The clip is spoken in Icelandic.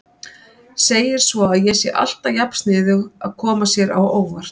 Segir svo að ég sé alltaf jafn sniðug að koma sér á óvart.